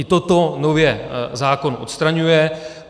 I toto nově zákon odstraňuje.